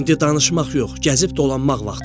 İndi danışmaq yox, gəzib-dolanmaq vaxtıdır.